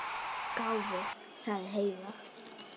Gáfuð, sagði Heiða.